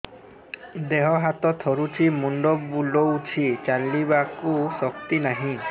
ଦେହ ହାତ ଥରୁଛି ମୁଣ୍ଡ ବୁଲଉଛି ଚାଲିବାକୁ ଶକ୍ତି ନାହିଁ